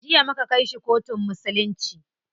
Jiya muka kai shi kotun musulunci.